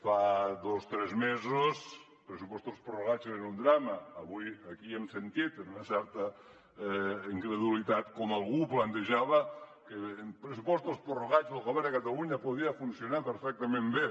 fa dos tres mesos pressupostos prorrogats eren un drama avui aquí hem sentit amb una certa incredulitat com algú plantejava que amb pressupostos prorrogats el govern de catalunya podia funcionar perfectament bé